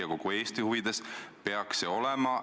Austatud koosoleku juhataja!